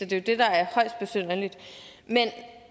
det er det der er højst besynderligt men